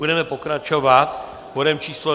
Budeme pokračovat bodem číslo